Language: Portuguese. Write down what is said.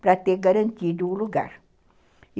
para ter garantido o lugar.